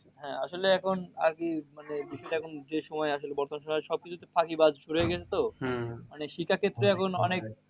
হ্যাঁ আসলে এখন আরকি মানে দেশটা এখন যে সময় আসলে সবকিছুতেই ফাঁকিবাজ ভরে গেছে তো। মানে শিক্ষা ক্ষেত্রে অনেক